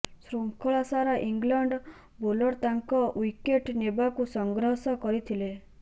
ଶୃଙ୍ଖଳା ସାରା England bowler ତାଙ୍କ ଓ୍ବିକେଟ୍ ନେବାକୁ ସଂଘର୍ଷ କରିଥିଲେ